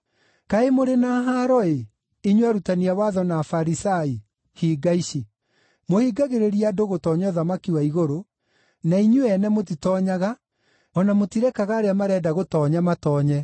“Kaĩ mũrĩ na haaro-ĩ, inyuĩ arutani a watho na Afarisai, hinga ici! Mũhingagĩrĩria andũ gũtoonya ũthamaki wa igũrũ, na inyuĩ-ene mũtitoonyaga, o na mũtirekaga arĩa marenda gũtoonya matoonye. (